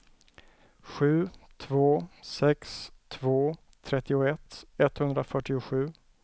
sju två sex två trettioett etthundrafyrtiosju